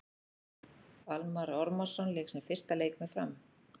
Almarr Ormarsson lék sinn fyrsta leik með Fram.